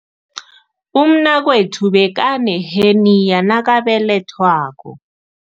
Umnakwethu bekaneheniya nakabelethwako.